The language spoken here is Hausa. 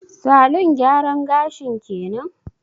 Salon gyaran gashin kenan?